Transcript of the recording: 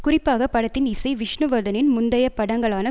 குறிப்பாக படத்தின் இசை விஷ்ணுவர்தனின் முந்தையப் படங்களான